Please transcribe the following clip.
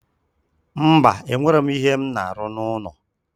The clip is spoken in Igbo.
Mba, e nwere m ihe m na-aru n'ụlọ